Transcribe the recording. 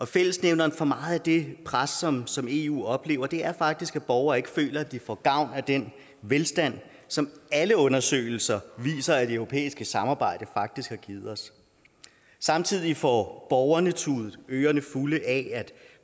fællesnævneren for meget af det pres som som eu oplever er faktisk at borgere ikke føler at de får gavn af den velstand som alle undersøgelser viser at det europæiske samarbejde faktisk har givet os samtidig får borgerne tudet ørerne fulde af at